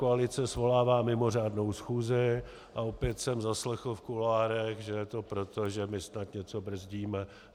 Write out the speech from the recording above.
Koalice svolává mimořádnou schůzi a opět jsem zaslechl v kuloárech, že je to proto, že my snad něco brzdíme.